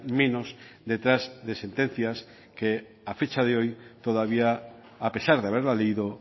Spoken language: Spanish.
menos detrás de sentencias que a fecha de hoy todavía a pesar de haberla leído